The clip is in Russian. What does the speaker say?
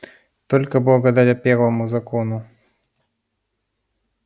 только благодаря первому закону